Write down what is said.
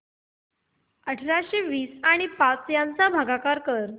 अठराशे वीस आणि पाच यांचा भागाकार कर